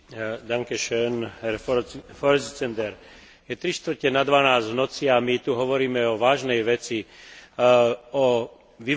Je trištvrte na dvanásť v noci a my tu hovoríme o vážnej veci o vyvážaní toxického odpadu do rozvojových krajín.